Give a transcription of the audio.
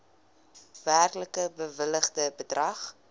werklik bewilligde bedrag